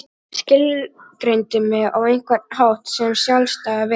Skilgreindi mig á einhvern hátt sem sjálfstæða veru.